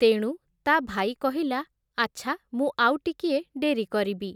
ତେଣୁ ତା’ ଭାଇ କହିଲା, ଆଚ୍ଛା ମୁଁ ଆଉ ଟିକିଏ ଡେରି କରିବି ।